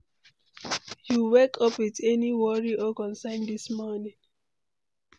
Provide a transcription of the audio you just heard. You wake up with any worry or concern dis morning?